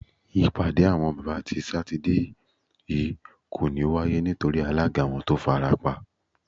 Ìpàdé àwo̩n bábà ti Sátidé yìí kò ní wáyé nítorí alága wo̩n tó farapa